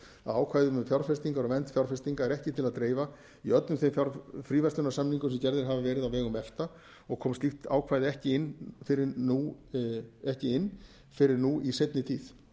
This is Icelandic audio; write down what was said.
ákvæðum um fjárfestingar og vernd fjárfestinga er ekki til að dreifa í öllum þeim fríverslunarsamningum sem gerðir hafa verið á vegum efta og kom slíkt ákvæði ekki inn fyrr en nú í seinni tíð